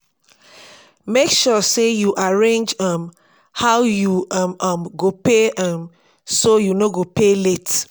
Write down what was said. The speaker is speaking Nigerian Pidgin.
mek sure say yu arrange um how yu um um go pay um so yu no go pay late.